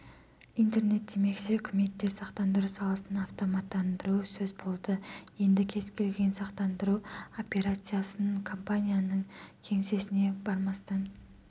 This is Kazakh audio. интернет демекші үкіметте сақтандыру саласын автоматтандыру сөз болды енді кез келген сақтандыру операциясын компанияның кеңсесіне бармастан